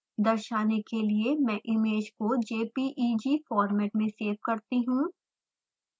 दर्शाने के लिए मैं इमेज को jpeg फॉर्मेट में सेव करती हूँ